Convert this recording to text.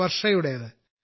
വർഷയുടേത്